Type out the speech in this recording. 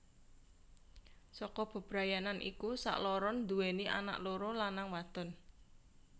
Saka bebrayanan iku sakloron nduweni anak loro lanang wadon